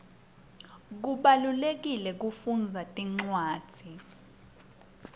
kubalulekile kufundza tincwadzi